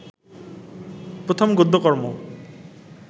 প্রথম গদ্যকর্ম